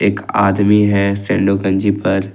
एक आदमी है सैंडो गंजी पर।